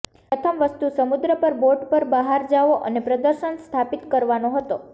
પ્રથમ વસ્તુ સમુદ્ર પર બોટ પર બહાર જાઓ અને પ્રદર્શન સ્થાપિત કરવાનો હતો